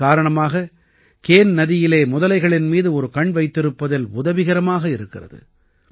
இதன் காரணமாக கேன் நதியிலே முதலைகளின் மீது ஒரு கண் வைத்திருப்பதில் உதவிகரமாக இருக்கிறது